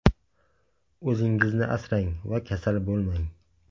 O‘zingizni asrang va kasal bo‘lmang!